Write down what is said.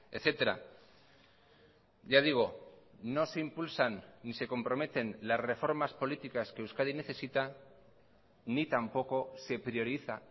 etcétera ya digo no se impulsan ni se comprometen las reformas políticas que euskadi necesita ni tampoco se prioriza